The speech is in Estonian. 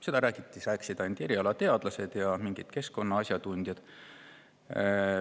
Sellest rääkisid ainult erialateadlased ja mingid keskkonnaasjatundjad.